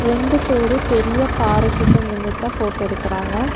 ரெண்டு பேரு பெரிய பாறை கிட்ட நின்னுட்தா ஃபோட்டோ எடுக்கறாங்க.